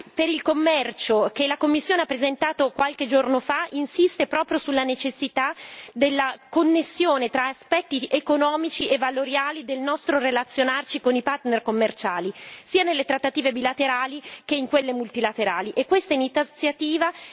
La nuova strategia per il commercio, che la Commissione ha presentato qualche giorno fa, insiste proprio sulla necessità della connessione tra aspetti economici e valoriali del nostro relazionarci con i partner commerciali, sia nelle trattative bilaterali che in quelle multilaterali.